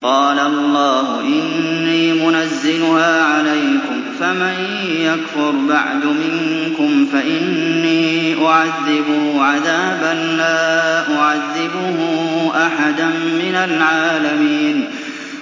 قَالَ اللَّهُ إِنِّي مُنَزِّلُهَا عَلَيْكُمْ ۖ فَمَن يَكْفُرْ بَعْدُ مِنكُمْ فَإِنِّي أُعَذِّبُهُ عَذَابًا لَّا أُعَذِّبُهُ أَحَدًا مِّنَ الْعَالَمِينَ